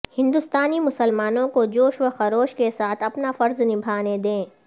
ہندوستانی مسلمانوں کو جوش و خروش کے ساتھ اپنا فرض نبھانے دیں